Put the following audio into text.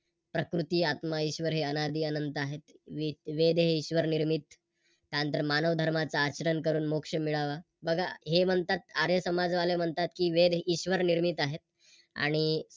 प्रकृती, आत्मा, ईश्वर हे अनादी अनंत आहेत. वेद हे ईश्वर निर्मित त्यानंतर मानव धर्माचा आचरण करून मोक्ष मिळावा. बघा हे म्हणतात आर्य समाज वाले म्हणतात कि वेद हे ईश्वर निर्मित आहेत आणि